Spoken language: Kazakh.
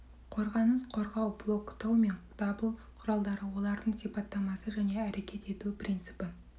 қорғаныс қорғау блоктау мен дабыл құралдары олардың сипаттамасы және әрекет ету принципі